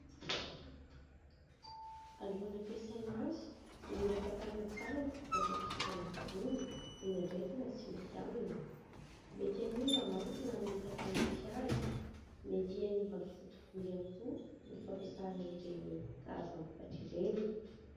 Alohan'ny ampiasaina azy dia mila fantarina tsara ny vokatra hosorana amin'ny volo indraindray tena tsy mety aminy. Mety hanimba manko na mety hampanify azy mety hanimba ny foto-bolo ihany koa ny fampiasana ireny karazam-bokatra ireny.